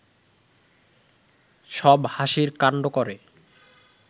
সব হাসির কাণ্ড করে